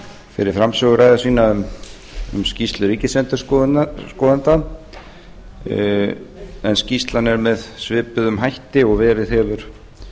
fyrir framsöguræðu sína um skýrslu ríkisendurskoðanda en skýrslan er með svipuðum hætti og verið hefur